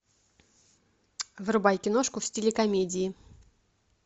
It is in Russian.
врубай киношку в стиле комедии